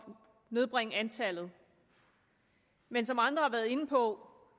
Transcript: nedbringe antallet men som andre har været inde på